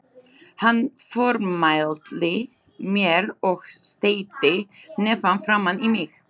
Hann formælti mér og steytti hnefann framan í mig.